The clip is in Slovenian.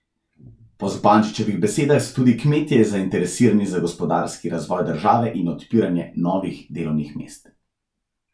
Po Zupančičevih besedah so tudi kmetje zainteresirani za gospodarski razvoj države in odpiranje novih delovnih mest.